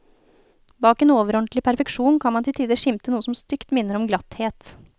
Bak en overordentlig perfeksjon kan man til tider skimte noe som stygt minner om glatthet.